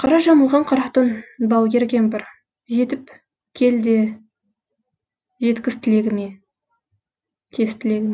қара жамылған қара түн балгер кемпір жетіп кел де жеткіз тілегіме